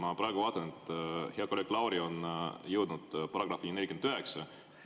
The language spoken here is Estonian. Ma praegu vaatan, et hea kolleeg Lauri on jõudnud §‑ni 49.